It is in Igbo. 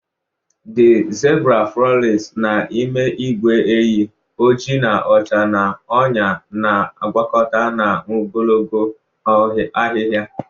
The zebura frolics n'ime ìgwè ehi, oji na ọcha n'ọnyá na-agwakọta na ogologo ahihia.